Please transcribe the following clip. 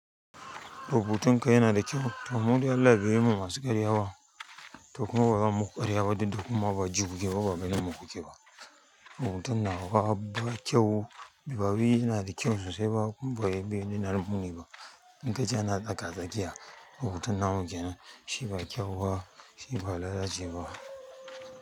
Rubutun ka yana da kyau. To mu dai Allah bai yi mu masu karya ba, to kuma ba zan muku karya ba duk da kuma ba ji ku ke ba ba ganin mu ku ke ba. Rubutun nawa ba kyau, bari yana da kyau sosai ba kuma bai bai nuna min komai ba. In ka ji ana tsaka-tsakiya, rubutun namu kenan, shi ba kyau ba, shi ba lalace ba.